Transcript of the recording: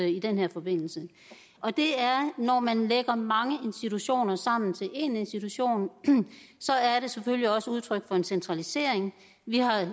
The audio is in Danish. i den her forbindelse og det er at når man lægger mange institutioner sammen til én institution er det selvfølgelig også udtryk for en centralisering vi har